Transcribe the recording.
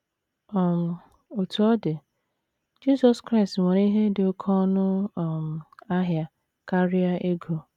um Otú ọ dị, Jizọs Kraịst nwere ihe dị oké ọnụ um ahịa karịa ego.